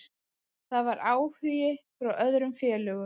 Það var áhugi frá öðrum félögum.